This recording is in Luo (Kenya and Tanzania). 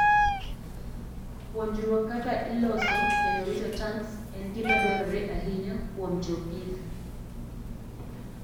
Puonjruok kaka iloso kendo rito tanks en gima dwarore ahinya kuom jopith.